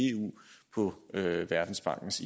eu i i verdensbankens